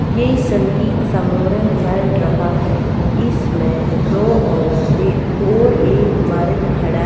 यह संगीत समोरन चल रहा है इसमें दो औरतें और एक मर्द खड़ा --